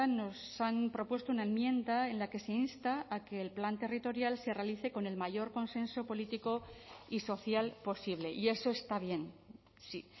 nos han propuesto una enmienda en la que se insta a que el plan territorial se realice con el mayor consenso político y social posible y eso está bien sí